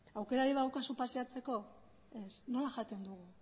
aukerarik badaukazu paseatzeko ez nola jaten dugu